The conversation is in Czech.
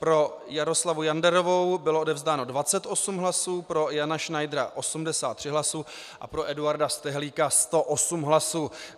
Pro Jaroslavu Janderovou bylo odevzdáno 28 hlasů, pro Jana Schneidera 83 hlasy a pro Eduarda Stehlíka 108 hlasů.